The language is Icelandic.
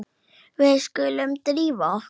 Við skulum drífa okkur.